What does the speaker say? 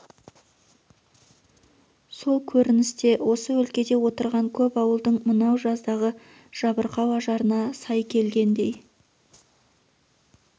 сол көрініс те осы өлкеде отырған көп ауылдың мынау жаздағы жабырқау ажарына сай келгендей